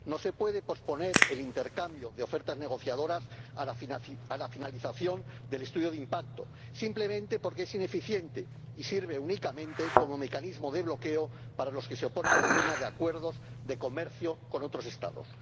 No se puede posponer el intercambio de ofertas negociadoras a la finalización del estudio de impacto, simplemente porque es ineficiente y sirve únicamente como mecanismo de bloqueo para los que se oponen a la firma de acuerdos de comercio con otros Estados.